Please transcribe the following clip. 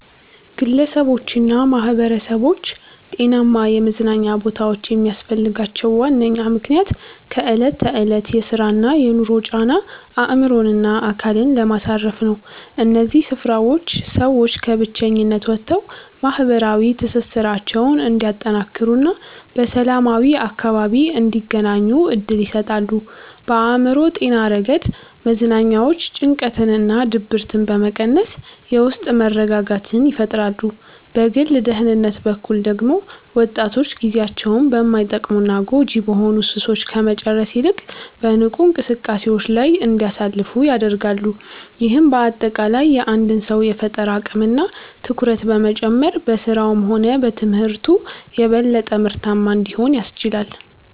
ግለሰቦችና ማኅበረሰቦች ጤናማ የመዝናኛ ቦታዎች የሚያስፈልጋቸው ዋነኛው ምክንያት ከዕለት ተዕለት የሥራና የኑሮ ጫና አእምሮንና አካልን ለማሳረፍ ነው። እነዚህ ስፍራዎች ሰዎች ከብቸኝነት ወጥተው ማኅበራዊ ትስስራቸውን እንዲያጠናክሩና በሰላማዊ አካባቢ እንዲገናኙ ዕድል ይሰጣሉ። በአእምሮ ጤና ረገድ መዝናኛዎች ጭንቀትንና ድብርትን በመቀነስ የውስጥ መረጋጋትን ይፈጥራሉ። በግል ደህንነት በኩል ደግሞ ወጣቶች ጊዜያቸውን በማይጠቅሙና ጎጂ በሆኑ ሱሶች ከመጨረስ ይልቅ በንቁ እንቅስቃሴዎች ላይ እንዲያሳልፉ ያደርጋሉ። ይህም በአጠቃላይ የአንድን ሰው የፈጠራ አቅምና ትኩረት በመጨመር በሥራውም ሆነ በትምህርቱ የበለጠ ምርታማ እንዲሆን ያስችላል።